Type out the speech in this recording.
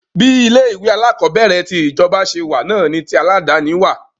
Bí ilé ìwé alákọ̀berẹ̀ ti ìjọba ṣe wà náà ni tí aládàni wà.